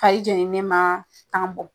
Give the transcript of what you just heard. Kaye jɛenen ma kanan bɔ.